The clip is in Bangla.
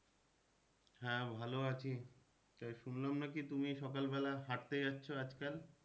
হ্যাঁ ভালো আছি তবে শুনলাম নাকি তুমি সকাল বেলা হাঁটতে যাচ্ছ আজ কাল?